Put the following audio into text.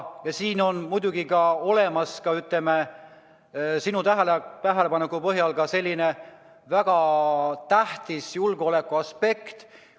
Siin on muidugi ka olemas, ütleme, sinu tähelepaneku põhjal, väga tähtis julgeolekuaspekt.